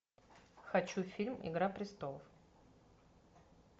хочу фильм игра престолов